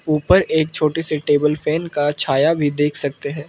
ऊपर एक छोटी सी टेबल फैन का छाया भी देख सकते हैं।